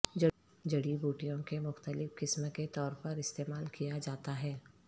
جڑی بوٹیوں کے مختلف قسم کے طور پر استعمال کیا جاتا ہے